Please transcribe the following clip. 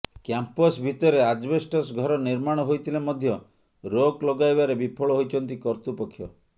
campus ଭିତରେ asbestos ଘର ନିର୍ମାଣ ହୋଇଥିଲେ ମଧ୍ୟ ରୋକ ଲଗାଇବାରେ ବିଫଳ ହୋଇଛନ୍ତି କର୍ତୃପକ୍ଷ